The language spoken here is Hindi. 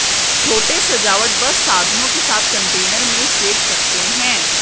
छोटे सजावट बस साधनों के साथ कंटेनर में सेंक सकते हैं